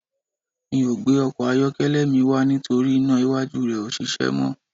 Mi ò gbé ọkọ̀ ayọ́kẹ́lẹ́ mi wá nítorí iná iwájú rẹ̀ ò ṣiṣẹ́ mọ́